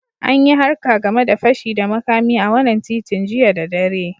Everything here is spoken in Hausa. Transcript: An yi harka game de fashi da makami a wanan titin jiya da dare.